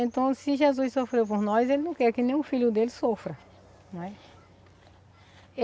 Então, se Jesus sofreu por nós, Ele não quer que nenhum filho dele sofra, não é?